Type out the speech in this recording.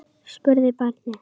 spurði barnið.